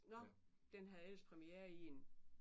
Nåh. Den havde ellers præmiere i en